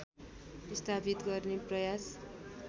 स्थापित गर्ने प्रयास